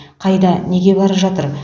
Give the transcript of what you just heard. қайда неге бара жатыр